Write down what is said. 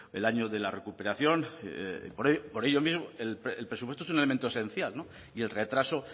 el año de la recuperación por ello mismo el presupuesto es un elemento esencial y el retraso